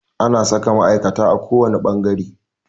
Ana saka ma'aikata a kowane fangare.